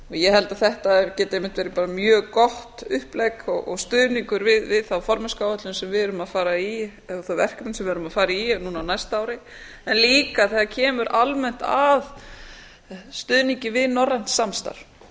ég held að þetta geti einmitt verið bara mjög gott upplegg og stuðningur við þá formennskuáætlun sem við erum að fara í eða þetta verkefni sem við erum að fara í eða núna á næsta ári en líka þegar kemur almennt að stuðningi við norrænt samstarf